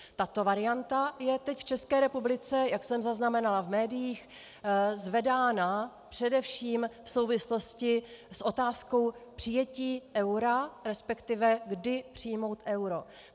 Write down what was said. Tato varianta je teď v České republice, jak jsem zaznamenala v médiích, zvedána především v souvislosti s otázkou přijetí eura, respektive kdy přijmout euro.